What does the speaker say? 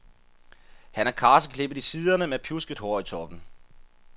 Han er karseklippet i siderne med pjusket hår i toppen.